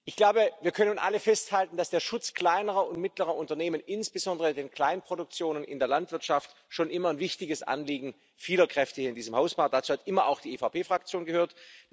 Ich glaube, wir können nun alle festhalten, dass der Schutz kleinerer und mittlerer Unternehmen insbesondere in den Kleinproduktionen in der Landwirtschaft schon immer ein wichtiges Anliegen vieler Kräfte hier in diesem Haus war, dazu hat immer auch die EVP Fraktion gehört.